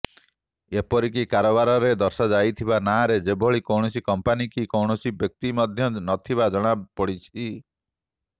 ଏପରିକି କାରବାରରେ ଦର୍ଶାଯାଇଥିବା ନାଁରେ ସେଭଳି କୌଣସି କମ୍ପାନୀ କି କୌଣସି ବ୍ୟକ୍ତି ମଧ୍ୟ ନଥିବା ଜଣାପଡିଛି